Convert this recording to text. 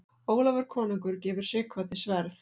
Ólafur konungur gefur Sighvati sverð.